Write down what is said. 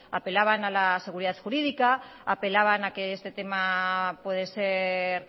apelaban a la seguridad jurídica apelaban a que este tema puede ser